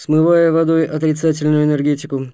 смывая водой отрицательную энергетику